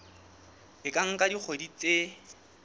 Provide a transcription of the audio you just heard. e ka nka dikgwedi tse